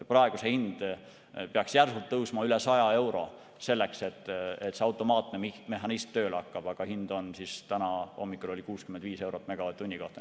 Praegu peaks see hind järsult tõusma üle 100 euro, selleks et see automaatne mehhanism tööle hakkaks, aga täna hommikul oli hind 65 eurot megavatt-tunni kohta.